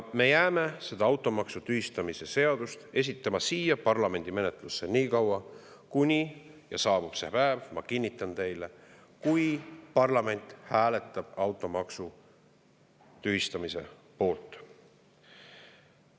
Me jääme seda automaksu tühistamise seadus esitama siia parlamendi menetlusse nii kaua, kui – ja saabub see päev, ma kinnitan teile – parlament hääletab automaksu tühistamise poolt.